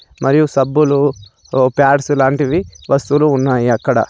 మరియు సబ్బులు ఓ ప్యాడ్స్ లాంటివి వస్తువులు ఉన్నాయి అక్కడ.